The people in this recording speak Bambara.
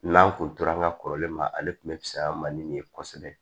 N'an kun tora an ka kɔrɔlen ma ale tun bɛ pisa man ni nin ye kosɛbɛ